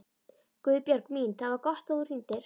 Guðbjörg mín, það var gott að þú hringdir.